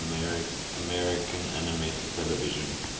american animated television